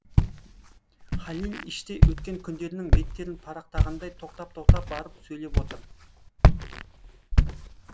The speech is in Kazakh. халил іштей өткен күндерінің беттерін парақтағандай тоқтап тоқтап барып сөйлеп отыр